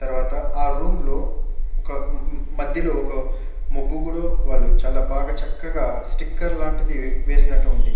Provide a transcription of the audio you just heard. తర్వాత ఆ రూమ్ లో ఒక ఊఉ మధ్యలో ఒక ముగ్గు కూడా వాళ్ళు చాల బాగా చక్కగా స్టికర్ లాంటిది వేసినట్టు ఉంది.